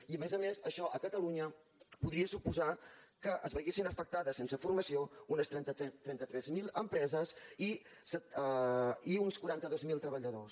i a més a més això a catalunya podria suposar que es veiessin afectades sense formació unes trenta tres mil empreses i uns quaranta dos mil treballadors